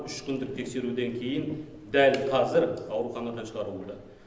үш күндік тексеруден кейін дәл қазір ауруханадан шығарылды